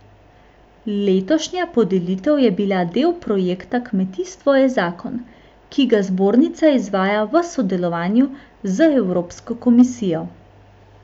Letošnja podelitev je bila del projekta Kmetijstvo je zakon, ki ga zbornica izvaja v sodelovanju z Evropsko komisijo.